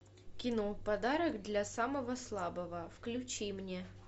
кино подарок для самого слабого включи мне